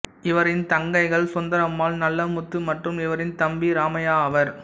இவரின் தங்கைகள் சுந்தரம்மாள் நல்லமுத்து மற்றும் இவரின் தம்பி இராமையா ஆவர்